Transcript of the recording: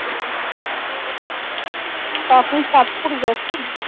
তা আপনি চাঁদপুর গেছেন